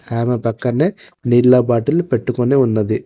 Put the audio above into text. ఆమె పక్కన్నే నీళ్ల బాటిల్ పెట్టుకొని ఉన్నది.